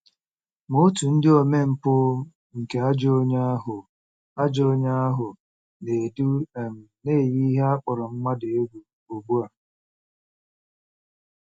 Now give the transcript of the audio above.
Ma òtù ndị omempụ nke “ajọ onye ahụ” “ajọ onye ahụ” na-edu um na-eyi ihe a kpọrọ mmadụ egwu ugbu a.